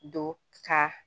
Don ka